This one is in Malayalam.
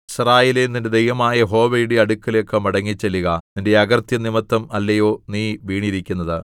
യിസ്രായേലേ നിന്റെ ദൈവമായ യഹോവയുടെ അടുക്കലേക്ക് മടങ്ങിച്ചെല്ലുക നിന്റെ അകൃത്യം നിമിത്തം അല്ലയോ നീ വീണിരിക്കുന്നത്